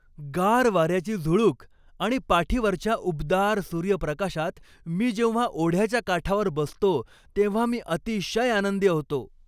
गार वाऱ्याची झुळूक आणि पाठीवरच्या उबदार सूर्यप्रकाशात मी जेव्हा ओढ्याच्या काठावर बसतो तेव्हा मी अतिशय आनंदी होतो.